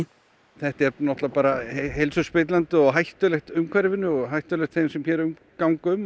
þetta er náttúrulega bara heilsuspillandi og hættulegt umhverfinu og hættulegt þeim sem hér ganga um